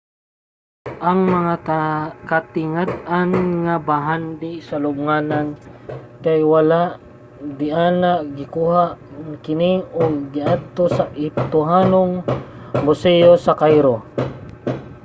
ang mga katingad-an nga bahandi sa lubnganan kay wala na diana gikuha na kini ug giadto sa ehiptohanong museyo sa cairo